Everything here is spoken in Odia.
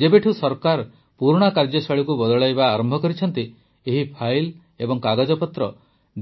ଯେବେଠୁ ସରକାର ପୁରୁଣା କାର୍ଯ୍ୟଶୈଳୀକୁ ବଦଳାଇବା ଆରମ୍ଭ କରିଛନ୍ତି ଏହି ଫାଇଲ୍ ଓ କାଗଜପତ୍ର